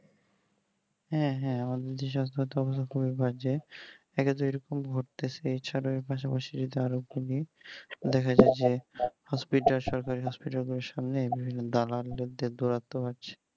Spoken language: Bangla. হ্যাঁ হ্যাঁ সাস্থটা খুবই বাজে একই তো এ রকম হতেছে এই ছাড়া পাশাপাশি আরো কিনি দেখা যাই যে hospital সরকারি hospital গুলির সামনে বিভিন্ন দালালদের গুরুত্ব আছে